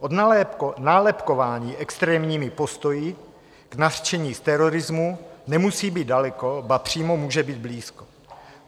Od nálepkování extrémními postoji k nařčení z terorismu nemusí být daleko, ba přímo může být blízko.